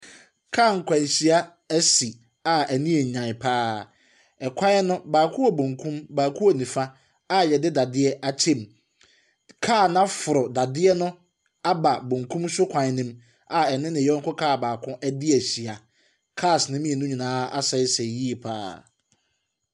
Kaa nkwanhyia asi a ani yɛ yan pa ara. Kwan no, baako wɔ bankum na baako wɔ nifa a yɛde dadeɛ akyɛ mu. Kaa no aforo dadeɛ no aba bankum afam a ɛne ne yɔnko kaa baako adi ahyia. Cars ne mmienu nyinaa asɛesɛe yie pa ara.